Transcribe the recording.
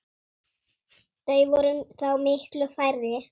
Þau væru þá miklu færri.